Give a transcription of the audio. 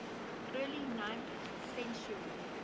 early ninth century